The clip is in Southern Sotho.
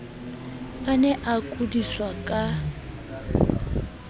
a ne a kudiswa ka